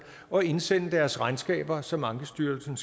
og indsende deres regnskaber som ankestyrelsen